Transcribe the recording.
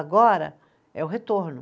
Agora é o retorno.